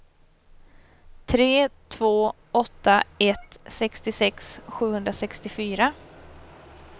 tre två åtta ett sextiosex sjuhundrasextiofyra